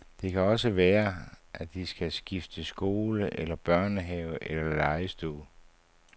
Det kan også være, de skal skifte skole eller børnehave eller legestue.